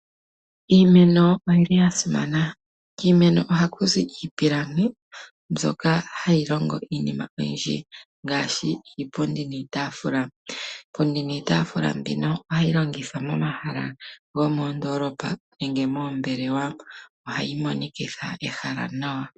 Iimeno oyi li ya simana. Kiimeno ohaku zi iipilangi mbyoka hayi longo iinima oyindji ngaashi iipundi niitaafula. Iipundi niitaafula mbino ohayi longithwa momahala gomoondoolopa nenge moombelewa. Ohayi monikitha ehala nawa.